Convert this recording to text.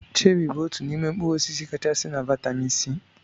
Cheri bụ otú n'ime mkpụrụ osisi kachasị na vitamin C.